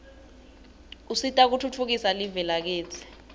usita kutfutfukisa live lakitsi